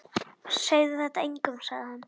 Segðu þetta engum sagði hann.